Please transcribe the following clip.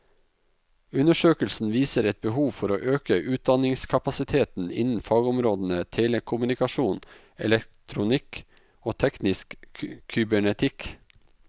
Undersøkelsen viser et behov for å øke utdanningskapasiteten innen fagområdene telekommunikasjon, elektronikk og teknisk kybernetikk.